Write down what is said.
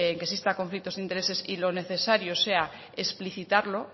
que exista conflicto de intereses y lo necesario sea explicitarlo